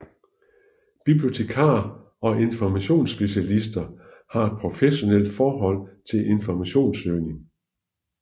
Bibliotekarer og informationsspecialister har et professionalt forhold til informationssøgning